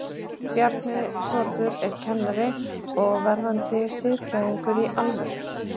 Bjarni Þórður er kennari og verðandi siðfræðingur, í alvöru?